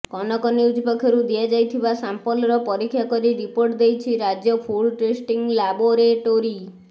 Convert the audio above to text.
Kanak news ପକ୍ଷରୁ ଦିଆଯାଇଥିବା ସାମ୍ପଲର ପରୀକ୍ଷା କରି ରିପୋର୍ଟ ଦେଇଛି ରାଜ୍ୟ ଫୁଡ୍ ଟେଷ୍ଟିଂ ଲାବୋରେଟୋରୀ